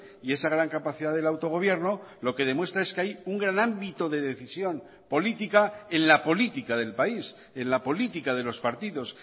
y esa gran capacidad del autogobierno lo que demuestra es que hay un gran ámbito de decisión política en la política del país en la política de los partidos